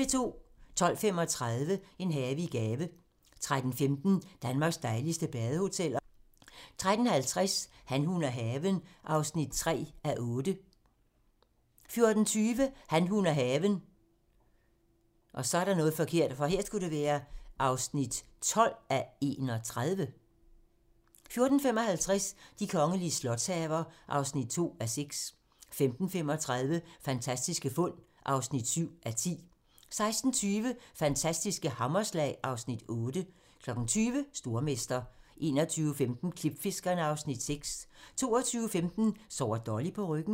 12:35: En have i gave 13:15: Danmarks dejligste badehoteller 13:50: Han, hun og haven (3:8) 14:20: Han, hun og haven (12:31) 14:55: De kongelige slotshaver (2:6) 15:35: Fantastiske fund (7:10) 16:20: Fantastiske hammerslag (Afs. 8) 20:00: Stormester 21:15: Klipfiskerne (Afs. 6) 22:15: Sover Dolly på ryggen?